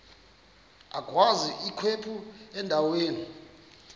agwaz ikhephu endaweni